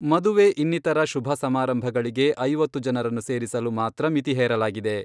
ಮದುವೆ ಇನ್ನಿತರ ಶುಭ ಸಮಾರಂಭಗಳಿಗೆ ಐವತ್ತು ಜನರನ್ನು ಸೇರಿಸಲು ಮಾತ್ರ ಮಿತಿ ಹೇರಲಾಗಿದೆ.